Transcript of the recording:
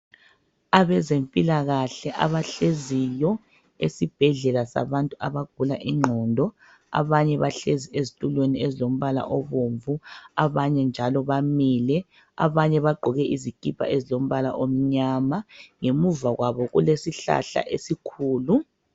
Abezempilakahle abahleziyo esibhedlela sabantu abagula igqondo. Abanye bahlezi ezitulweni ezilombala obomvu. Abanye njalo bamile. Abanye bagqoke izikipa ezilombala omnyama. Ngemuva kwabo kulesihlahla esikhulu.